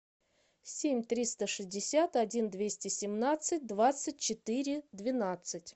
семь триста шестьдесят один двести семнадцать двадцать четыре двенадцать